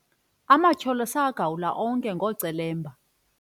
amatyholo sawagawula onke ngeemela ezinkulu ezibanzi